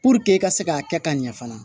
e ka se k'a kɛ ka ɲɛ fana